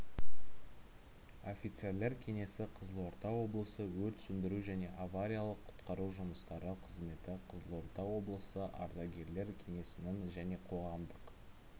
офицерлер кеңесі қызылорда облысы өрт сөндіру және авариялық-құтқару жұмыстары қызметі қызылорда облысы ардагерлер кеңесінің және қоғамдық